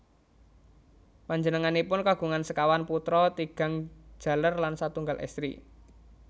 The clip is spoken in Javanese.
Panjenenganipun kagungan sekawan putra tigang jaler lan satunggal estri